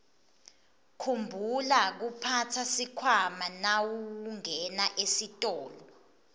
khumbula kuphatsa sikhwama nawungena esitolo